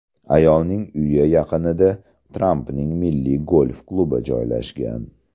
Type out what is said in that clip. Ayolning uyi yaqinida Trampning Milliy golf klubi joylashgan.